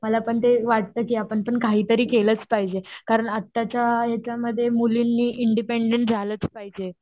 मला पण ते वाटतं की आपण काहीतरी केलंचं पाहिजे.कारण आताच्या ह्याच्यामध्ये मुलींनी इंडिपेंडेंट झालाच पाहिजे.